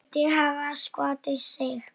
Virðist hafa skotið sig.